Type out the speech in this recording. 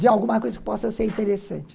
De alguma coisa que possa ser interessante.